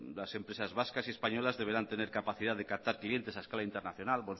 las empresas vascas y españolas deberán tener capacidad de captar clientes a escala internacional